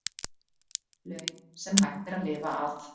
Laun sem hægt er að lifa af